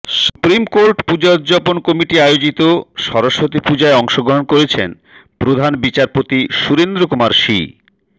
supreme court puja উদ্যাপান committee আয়োজিত সরস্বতী পূজায় অংশগ্রহণ করেছেন প্রধান বিচারপতি সুরেন্দ্র কুমার সি